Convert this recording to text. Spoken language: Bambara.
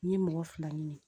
N ye mɔgɔ fila ɲini